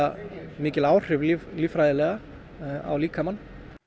mikil áhrif líffræðilega á líkamann